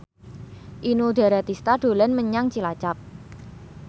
Inul Daratista dolan menyang Cilacap